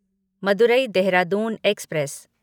Madurai Dehradun express